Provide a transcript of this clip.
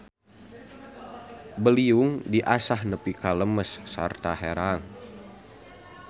Beliung diasah nepi ka lemes sarta herang.